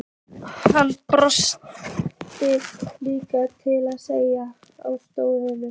Hann brosti líka og settist á háan stól.